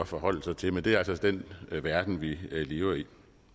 forholde sig til men det er altså den verden vi lever i